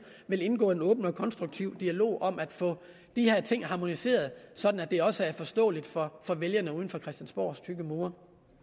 vil indgå i en åben og konstruktiv dialog om at få de her ting harmoniseret sådan at det også er forståeligt for vælgerne uden for christiansborgs tykke mure